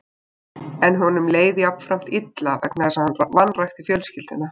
En honum leið jafnframt illa vegna þess að hann vanrækti fjölskylduna.